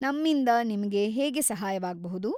ನಮ್ಮಿಂದಾ ನಿಮ್ಗೆ ಹೇಗೆ ಸಹಾಯವಾಗ್‌ಬೌದು?